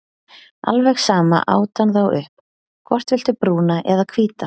Alveg sama át hann þá upp, hvort viltu brúna eða hvíta?